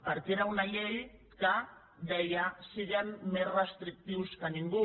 perquè era una llei que deia siguem més restrictius que ningú